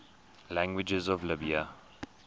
languages of libya